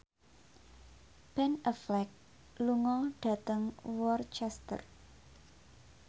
Ben Affleck lunga dhateng Worcester